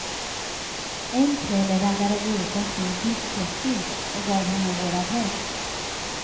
En kväll raggade vi upp en snygg discjockey och gav honom vår adress.